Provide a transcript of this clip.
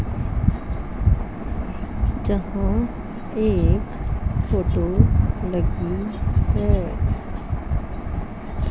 जहां एक फोटो लगी है।